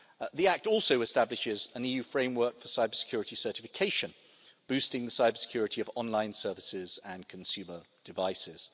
The Act also establishes an EU framework for cybersecurity certification, boosting the cybersecurity of online services and consumer devices.